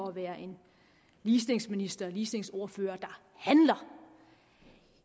at være en ligestillingsminister og ligestillingsordfører der handler